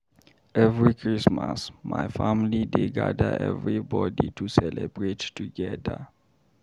Every Christmas, my family dey gada everybodi to celebrate together.